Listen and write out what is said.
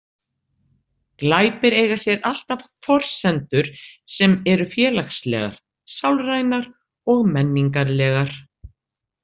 Glæpir eiga sér alltaf forsendur sem eru félagslegar, sálrænar og menningarlegar.